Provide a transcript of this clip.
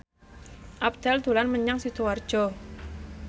Abdel dolan menyang Sidoarjo